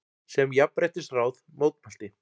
sem Jafnréttisráð mótmælti.